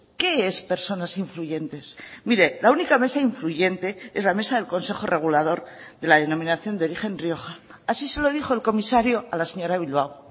qué es personas influyentes mire la única mesa influyente es la mesa del consejo regulador de la denominación de origen rioja así se lo dijo el comisario a la señora bilbao